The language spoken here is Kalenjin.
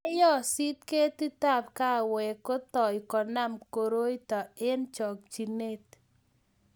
yeyosit ketitab kaawek kotoi konam koroito eng chokchine